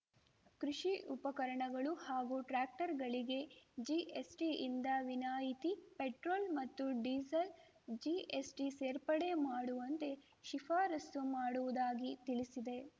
ಕೃಷಿ ಉಪಕರಣಗಳು ಹಾಗೂ ಟ್ರ್ಯಾಕ್ಟರ್‌ಗಳಿಗೆ ಜಿಎಸ್‌ಟಿಯಿಂದ ವಿನಾಯಿತಿ ಪೆಟ್ರೋಲ್‌ ಮತ್ತು ಡೀಸೆಲ್‌ ಜಿಎಸ್‌ಟಿ ಸೇರ್ಪಡೆ ಮಾಡುವಂತೆ ಶಿಫಾರಸ್ಸು ಮಾಡುವುದಾಗಿ ತಿಳಿಸಿದೆ